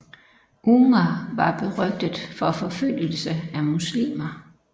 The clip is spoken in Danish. Umar var berygtet for forfølgelse af muslimmer